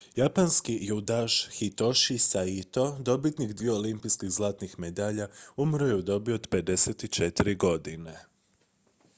japanski judaš hitoshi saito dobitnik dviju olimpijskih zlatnih medalja umro je u dobi od 54 godine